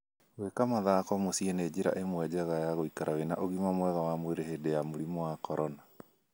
Gwĩka mathako mũciĩ nĩ njĩra ĩmwe njega ya gũikara wĩ na ũgima mwega wa mwĩrĩ hĩndĩ ya mũrimũ wa corona